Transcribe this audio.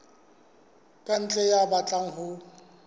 ka ntle ya batlang ho